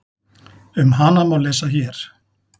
Um hana má lesa hér.